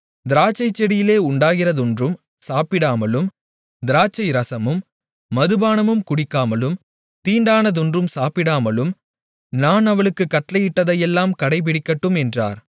திராட்சைச்செடியிலே உண்டாகிறதொன்றும் சாப்பிடாமலும் திராட்சை ரசமும் மதுபானமும் குடிக்காமலும் தீட்டானதொன்றும் சாப்பிடாமலும் நான் அவளுக்குக் கட்டளையிட்டதையெல்லாம் கடைபிடிக்கட்டும் என்றார்